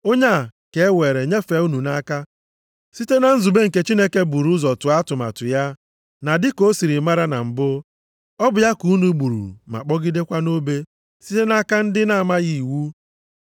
Onye a ka e weere nyefee unu nʼaka site na nzube nke Chineke buru ụzọ tụọ atụmatụ ya, na dịka o siri mara na mbụ, ọ bụ ya ka unu gburu ma kpọgidekwa nʼobe site nʼaka ndị na-amaghị iwu.